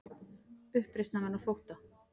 Uppreisnarmenn á flótta